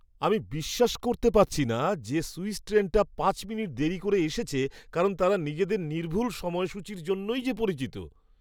আমি বিশ্বাস করতে পারছি না যে সুইস ট্রেনটা পাঁচ মিনিট দেরি করে এসেছে কারণ তারা নিজেদের নির্ভুল সময়সূচীর জন্যই যে পরিচিত!